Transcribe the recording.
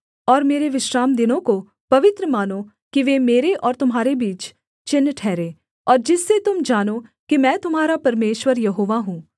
और मेरे विश्रामदिनों को पवित्र मानो कि वे मेरे और तुम्हारे बीच चिन्ह ठहरें और जिससे तुम जानो कि मैं तुम्हारा परमेश्वर यहोवा हूँ